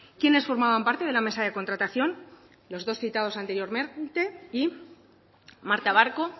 quiénes formaban parte de la mesa de contratación los dos citados anteriormente y marta barco